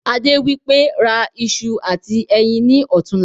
Adé wípé" ra ìṣù àti ẹyin ni ọ̀tunla"